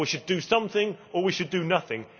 or we should do something' or we should do nothing'.